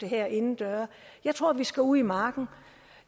herinde jeg tror vi skal ud i marken